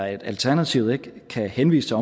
at alternativet ikke kan henvise til